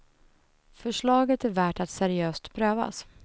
Förslaget är värt att seriöst prövas.